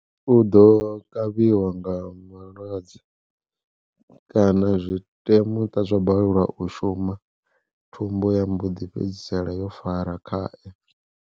U ḓo kavhiwa nga malwadze, kana zwi tea muṱa zwa balelwa u shuma thumbu ya mboḓi fhedzisela yo fara khaye.